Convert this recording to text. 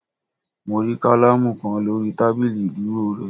Mo rí kálámù kan lórí tábìlì ìdúró re